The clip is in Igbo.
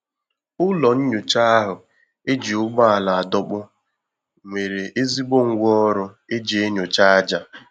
Ụlọ nyocha ahu eji ụgbọala adọkpu nwere ezigbo ngwa ọrụ eji enyocha aja